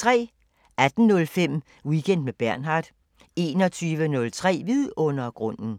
18:05: Weekend med Bernhard 21:03: Vidundergrunden